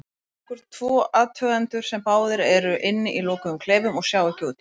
Hugsum okkur tvo athugendur sem báðir eru inni í lokuðum klefum og sjá ekki út.